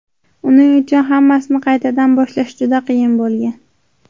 Uning uchun hammasini qaytadan boshlash juda qiyin bo‘lgan.